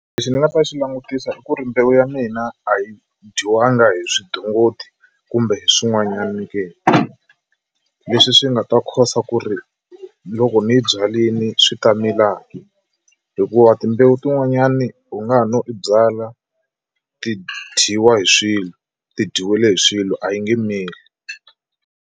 Lexi ni nga ta xi langutisa i ku ri mbewu ya mina a yi dyiwanga hi swidongodi kumbe hi swin'wanyani ke leswi swi nga ta cause ku ri loko ni byalini swi ta mila ke hikuva timbewu tin'wanyani u nga ha no i byala ti dyiwa hi swilo ti dyiwile hi swilo a yi nge mili.